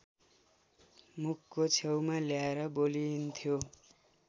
मुखको छेउमा ल्याएर बोलिन्थ्यो